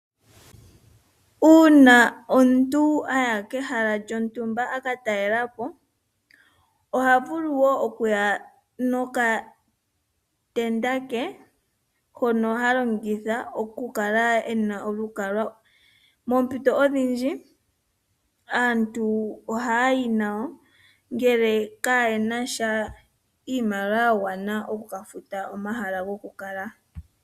Uuna omuntu a ya kehala lyontumba aka talela po oha vulu okuya nokatenda ke hono ha longitha oku kala ena olukalwa. Moompito odhindji ohaya yi nawo ngele kaayena sha iimaliwa ya gwana oku ka futa omahala goku kala.